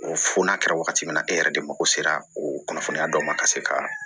Fo n'a kɛra wagati min na e yɛrɛ de mako sera o kunnafoniya dɔ ma ka se ka